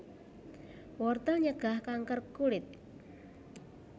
Wortel nyegah kanker kulit